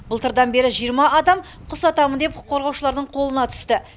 былтырдан бері жиырма адам құс атамын деп құқық қорғаушылардың қолына түсті